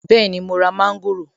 Bẹ́ẹ̀ni mo ra mọ́ńgòrò.